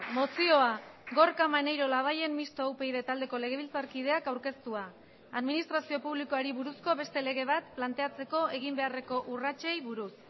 mozioa gorka maneiro labayen mistoa upyd taldeko legebiltzarkideak aurkeztua administrazio publikoari buruzko beste lege bat planteatzeko egin beharreko urratsei buruz